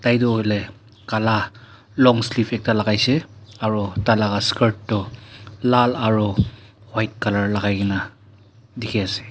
etu hoile kala long sleeve ekta lagaishe aru tailaga skirt toh lal aro white colour lagai kena dikhi ase.